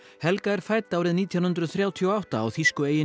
helga er fædd árið nítján hundruð þrjátíu og átta á þýsku eyjunni